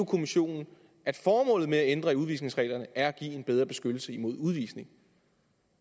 kommissionen at formålet med at ændre i udvisningsreglerne er at give en bedre beskyttelse mod udvisning